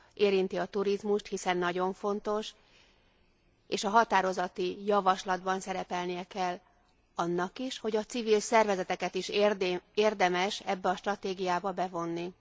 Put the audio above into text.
Érinti a turizmust, hiszen nagyon fontos, és a határozati javaslatban szerepelnie kell annak is, hogy a civil szervezeteket is érdemes ebbe a stratégiába bevonni.